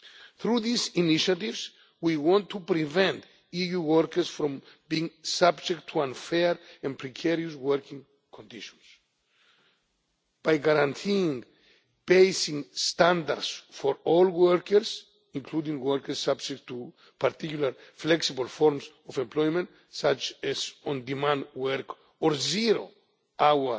Through these initiatives, we want to prevent EU workers from being subjected to unfair and precarious working conditions by guaranteeing basic standards for all workers, including workers subject to particularly flexible forms of employment, such as on demand work or zero